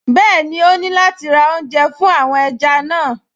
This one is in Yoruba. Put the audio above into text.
Bẹ́ẹ̀ni, ó ní láti ra oúnjẹ fún àwọn ẹja náà